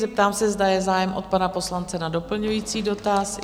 Zeptám se, zda je zájem od pana poslance na doplňující dotaz.